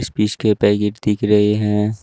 Speech के packet दिख रहे हैं।